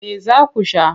Me za ku sha?